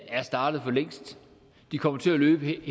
er startet for længst de kommer til at løbe